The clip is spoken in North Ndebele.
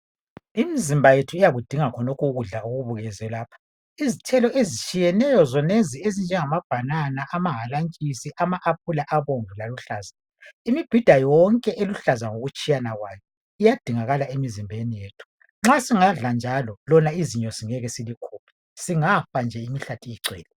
Imizimba yethu ikakudinga ukudla khonalokho okubukuzwe lapha izitelo ezitshiyeneyo zonezo ezinje ngama banana amahalantshisi, ama epula alihlaza labomvu imibhida yonke elujlaza ngokutshiyana kwayo iyadingakala emzimbeni wethu ma singadla njalo lona izinyo ngeke silikhiphe singafa imihlathi igcwele.